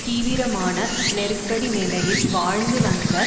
தீவிரமான நெருக்கடி நிலையில் வாழ்ந்து வந்த